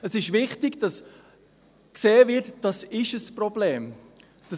Es ist wichtig, dass gesehen wird, dass dies ein Problem ist.